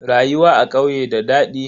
Rayuwa a ƙauye da dadi.